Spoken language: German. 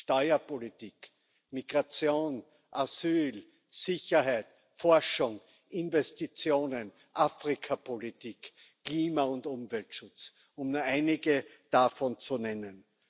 Steuerpolitik, Migration, Asyl, Sicherheit, Forschung, Investitionen, Afrikapolitik, Klima und Umweltschutz, um nur einige davon zu nennen.